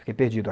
Fiquei perdido.